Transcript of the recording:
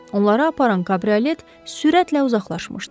Onları aparan kabriolet sürətlə uzaqlaşmışdı.